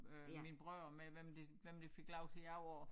Øh mine brødre med hvem der hvem der fik lov til at gå op og